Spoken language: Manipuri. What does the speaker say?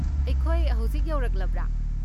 ꯑꯩꯈꯣꯏ ꯍꯧꯖꯤꯛ ꯌꯧꯔꯛꯂꯕ꯭ꯔꯥ?